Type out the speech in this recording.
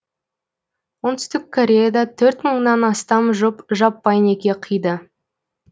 оңтүстік кореяда төрт мыңнан астам жұп жаппай неке қиды